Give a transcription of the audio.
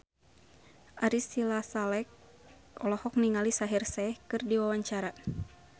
Ari Sihasale olohok ningali Shaheer Sheikh keur diwawancara